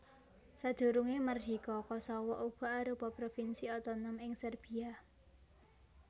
Sadurungé mardika Kosowo uga arupa provinsi otonom ing Serbiya